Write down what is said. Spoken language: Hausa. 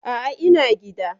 A'a, ina gida.